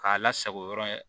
K'a lasago yɔrɔ ye